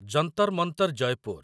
Jantar Mantar Jaipur